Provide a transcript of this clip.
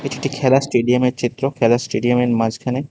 এটি একটি খেলার স্টেডিয়ামের এর চিত্র খেলার স্টেডিয়ামের এর মাঝখানে --